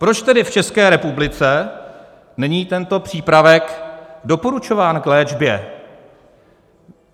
Proč tedy v České republice není tento přípravek doporučován k léčbě?